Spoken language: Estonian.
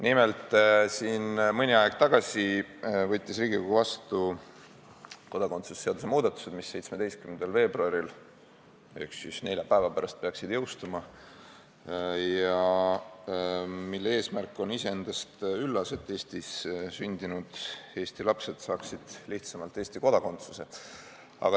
Nimelt, mõni aeg tagasi võttis Riigikogu vastu kodakondsuse seaduse muudatused, mis peaksid jõustuma 17. veebruaril ehk nelja päeva pärast ja mille eesmärk on iseendast üllas: et Eestis sündinud eesti lapsed saaksid lihtsamini Eesti kodakondsuse.